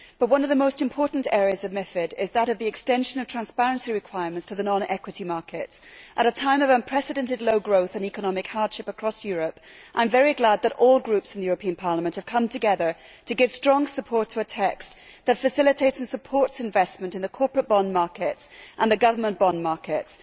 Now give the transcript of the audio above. One of the most important areas of MiFID is that of the extension of transparency requirements to the non equity markets. At a time of unprecedented low growth and economic hardship across Europe, I am very glad that all groups in the European Parliament have come together to give strong support to a text that facilitates and supports investment in the corporate bond markets and the government bond markets.